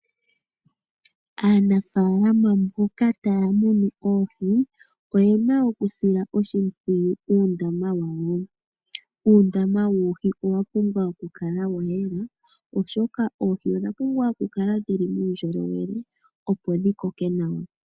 Aanafalama mboka taya munu oohi, oye na okusila oshipwiyu uundama wayo. Uundama woohi owa pumbwa okukala wayela oshoka oohi odha pumbwa kukala dhili muundjolowele opo dhikoke nawa.